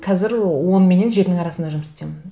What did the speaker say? қазір он менен жетінің арасында жұмыс істеймін